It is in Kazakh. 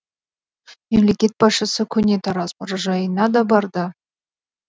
мемлекет басшысы көне тараз мұражайына да барды